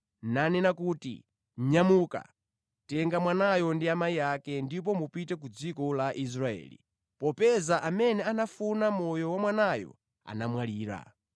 nanena kuti, “Nyamuka, tenga mwanayo ndi amayi ake ndipo mupite ku dziko la Israeli, popeza amene anafuna moyo wa mwanayo anamwalira.”